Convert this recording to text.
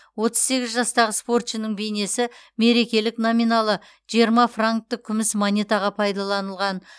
отыз сегіз жастағы спортшының бейнесі мерекелік номиналы жиырма франктік күміс монетаға пайдаланылған